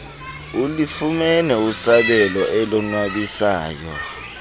ifumene usabelo olonwabisayo